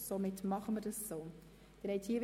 Somit werden wir in dieser Art vorgehen.